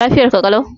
Lafiyar ka lau?